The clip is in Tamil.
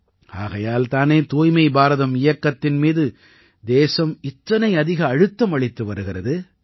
ஆகையால் தானே தூய்மை பாரதம் இயக்கத்தின் மீது தேசம் அதிக அழுத்தம் அளித்து வருகிறது